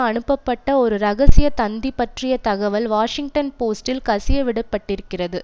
அனுப்பப்பட்ட ஒரு ரகசியத் தந்தி பற்றிய தகவல் வாஷிங்டன் போஸ்ட்டில் கசியவிடப்பட்டிருக்கிறது